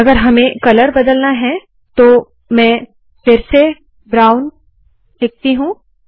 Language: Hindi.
अगर हमें कलर बदलना है तो मैं फिर से ब्राउन याने भूरा रंग देती हूँ